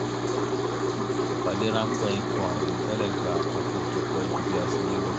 ìpàdé ráńpẹ́ ikọ̀ àìrò tẹ́lẹ̀ gba àkókò tó pẹ́ ju bí a ṣe lérò lọ